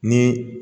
Ni